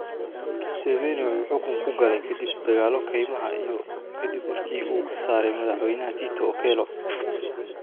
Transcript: Museveni wuxuu xukunka ku galay kadib dagaallo kaymaha ah iyo kadib markii uu ka saaray madaxweynaha Tito Okello.